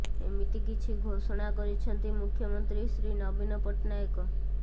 ଏମିତି କିଛି ଘୋଷଣା କରିଛନ୍ତି ମୁଖ୍ୟମନ୍ତ୍ରୀ ଶ୍ରୀ ନବୀନ ପଟ୍ଟନାୟକ